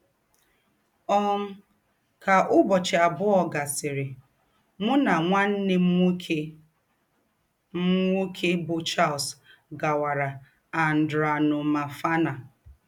um Kà ǔbọ̀chị àbụọ̀ gàsịrị, mụ nà nwanne m nwókè m nwókè bụ́ Charles gàwàrà Andranomafana.